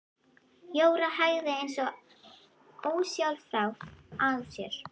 Jóra hægði eins og ósjálfrátt á sér.